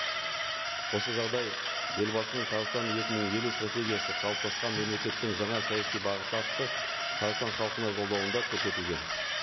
осы жағдай елбасының қазақстан екі мың елу стратегиясы қалыптасқан мемлекеттің жаңа саяси бағыты атты қазақстан халқына жолдауында көрсетілген